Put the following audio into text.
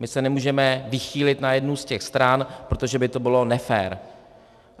My se nemůžeme vychýlit na jednu z těch stran, protože by to bylo nefér.